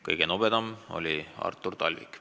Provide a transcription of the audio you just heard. Kõige nobedam oli Artur Talvik.